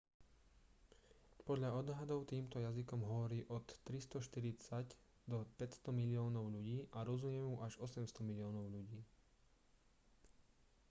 podľa odhadov týmto jazykom hovorí od 340 do 500 miliónov ľudí a rozumie mu až 800 miliónov ľudí